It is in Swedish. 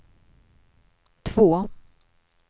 två